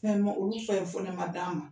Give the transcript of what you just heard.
Mɛ mun olu fɛ ma d'an ma